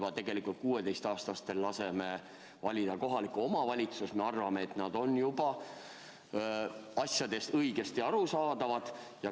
Kui me juba 16-aastastel laseme valida kohalikku omavalitsust, siis me arvame, et nad saavad asjadest õigesti aru.